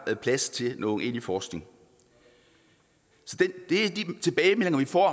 plads til nogen egentlig forskning så de tilbagemeldinger vi får